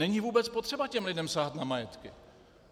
Není vůbec potřeba těm lidem sahat na majetky.